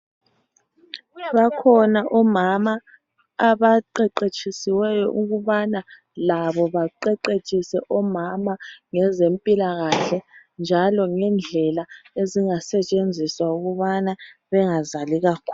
Kuyaba khona omama abaqeqetshisiweyo ukubana labo baqeqetshise omama ngezempilakahle, njalo ngendlela ezingasetshenziswa ukubana bengazali kakhulu.